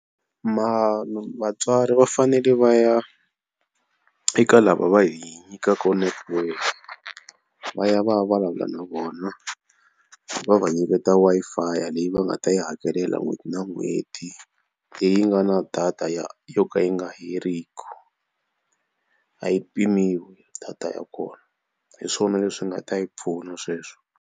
Vatswari va fanele va ya eka lava va hi nyikaka network va ya va ya vulavula na vona va va nyiketa Wi-Fi leyi va nga ta yi hakela n'hweti na n'hweti leyi nga na data ya yo ka yi nga heriki. A yi pimiwa data ya kona hi swona leswi nga ta hi pfuna sweswo.